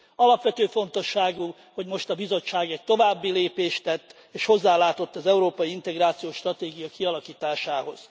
Alapvető fontosságú, hogy most a Bizottság egy további lépést tett, és hozzálátott az európai integráció stratégia kialakításához.